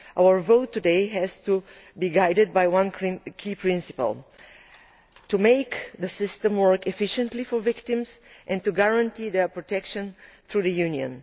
Our vote today has to be guided by one key principle to make the system work efficiently for victims and to guarantee their protection by the Union.